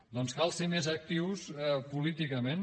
doncs cal ser més actius políticament